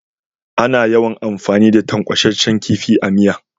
Ana yawan amfani da tankwashen kifi a miya.